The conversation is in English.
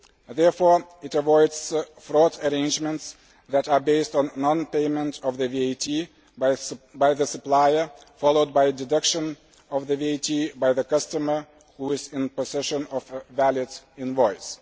Therefore, it avoids fraud arrangements that are based on non payment of the VAT by the supplier followed by deduction of the VAT by the customer, who is in possession of a valid invoice.